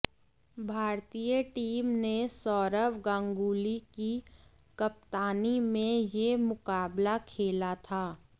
भारतीय टीम ने सौरव गांगुली की कप्तानी में यह मुकाबला खेला था